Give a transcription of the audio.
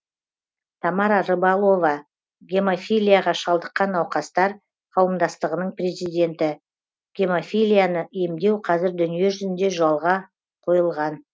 тамара рыбалова гемофилияға шалдыққан науқастар қауымдастығының президенті гемофилияны емдеу қазір дүниежүзінде жолға қойылған